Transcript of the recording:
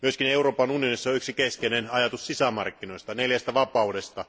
Myös Euroopan unionissa on yksi keskeinen ajatus sisämarkkinoista, neljästä vapaudesta.